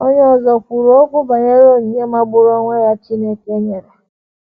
Onye ọzọ kwuru okwu banyere onyinye magburu onwe ya Chineke nyere.